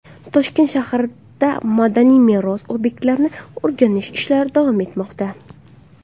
Toshkent shahrida madaniy meros obyektlarini o‘rganish ishlari davom etmoqda.